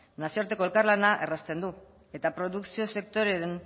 nazioarteko elkarlana errazten du eta produkzio sektoreen